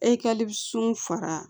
E ka sun faga